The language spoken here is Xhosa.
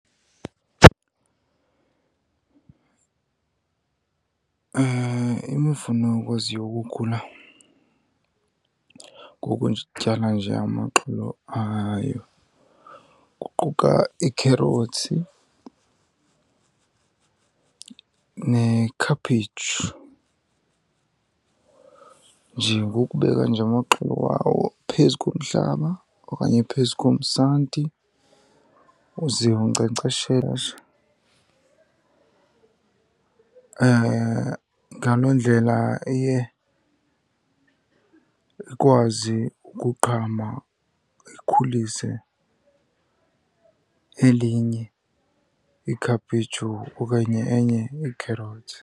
Imifuno ekwaziyo ukukhula ngokuzityala nje amaxolo ayo kuquka iikherothsi nekhaphetshu. Nje ngokubeka nje amaxolo wawo phezu komhlaba okanye phezu komsanti, uzive unkcenkceshela nje, ngaloo ndlela iye ikwazi ukuqhama ikhulise elinye ikhaphetshu okanye enye ikherothsi.